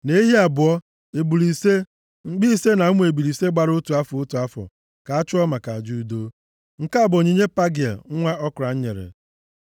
na ehi abụọ, ebule ise, mkpi ise na ụmụ ebule ise gbara otu afọ, otu afọ, ka a chụọ maka aja udo. Nke a bụ onyinye Pagịel nwa Okran nyere.